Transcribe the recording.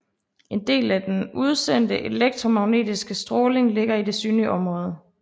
En del af den udsendte elektromagnetiske stråling ligger i det synlige område